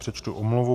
Přečtu omluvu.